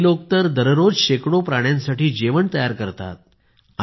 काही लोक तर दररोज शेकडो प्राण्यांसाठी जेवण तयार करतात